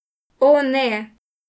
O, ne.